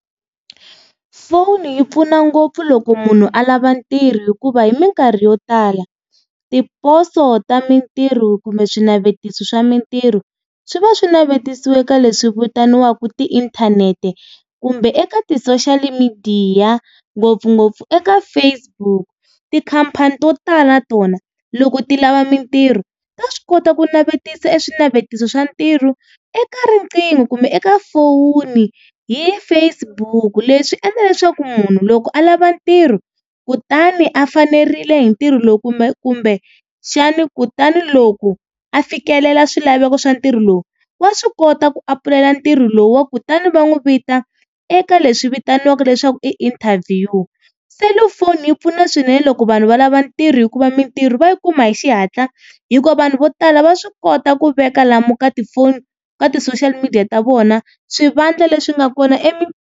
Foni yi pfuna ngopfu loko munhu a lava ntirho hikuva hi minkarhi yo tala, tiposo ta mintirho kumbe swinavetiso swa mintirho swi va swi navetisiwe ka leswi vitaniwaka tiinthanete, kumbe eka ti-social midiya ngopfungopfu eka Facebook. Tikhampani to tala natona loko ti lava mintirho ta swi kota ku navetisa swinavetiso swa ntirho eka riqingho kumbe eka foni hi Facebook. Leswi endla leswaku munhu loko a lava ntirho kutani a fanerile hi ntirho lowu kumbexani kutani loko a fikelela swilaveko swa ntirho lowu, wa swi kota ku apulayela ntirho lowu kutani va n'wi vita eka leswi vitaniwaka leswaku i interview. Selufoni yi pfuna swinene loko vanhu va lava ntirho hikuva mintirho va yi kuma hi xihatla, hikuva vanhu vo tala va swi kota ku veka lomu ka tifoni ka ti-social media ta vona swivandla leswi nga kona .